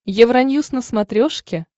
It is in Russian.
евроньюс на смотрешке